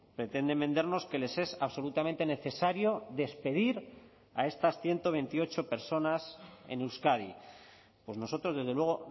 pretenden vendernos que les es absolutamente necesario despedir a estas ciento veintiocho personas en euskadi pues nosotros desde luego